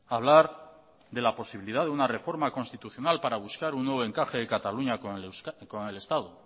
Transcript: hablar de la posibilidad de una reforma constitucional para buscar un nuevo encaje de cataluña con el estado